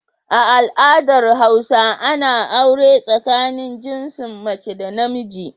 A al adar hausa Ana aure tsakanin jinsin mace da namiji